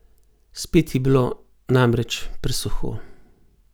Spet je bilo, namreč, presuho!